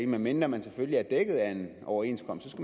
medmindre man selvfølgelig er dækket af en overenskomst